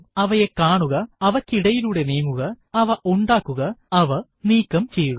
അവയെ കാണുക അവയ്ക്കിടയിലൂടെ നീങ്ങുക അവ ഉണ്ടാക്കുക അവ നീക്കം ചെയ്യുക